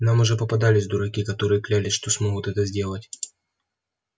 нам уже попадались дураки которые клялись что смогут это сделать